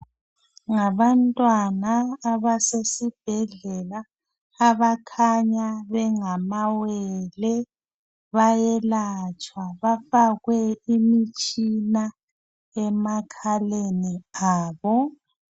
Ngabantwana abasesibhedlela abakhanya bengamawele. Bayelatshwa bafakwe imitshina emakhaleni abo.